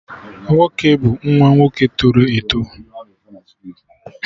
Nwoke bụ nwa nwoke tọrọ eto